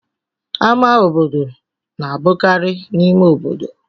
Ámá obodo na-abụkarị n'ime obodo.